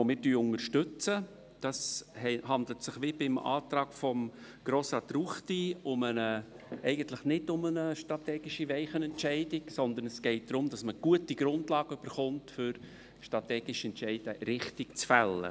der BaK. Hier handelt es sich wie beim Antrag von Grossrat Ruchti nicht um eine strategische Weichenstellung, sondern es geht darum, gute Grundlagen zu erhalten, um strategische Entscheide richtig zu fällen.